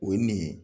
O ye nin ye